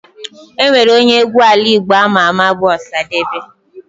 Enwere onye egwu ala Igbo ama ama bu Osadebe.